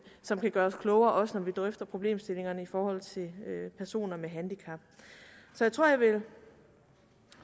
som kan gøre os klogere også når vi drøfter problemstillingerne i forhold til personer med handicap så jeg tror jeg vil